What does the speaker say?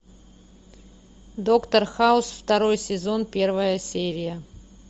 доктор хаус второй сезон первая серия